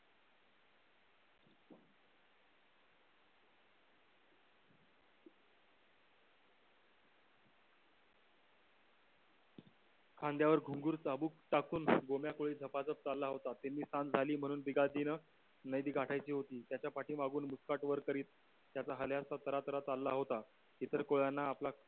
खांद्यावर घुंगरू चाबूक टाकून गोम्या कोळी झपाझप चालला होता. तिन्ही सांझ झाली म्हणून बिगातीनं नदी गाठायची होती. त्याच्या पाठीमागून मुस्काट वर करीत त्याचा हल्या असा झराझरा चालला होता. इतर कोळ्यांना आपला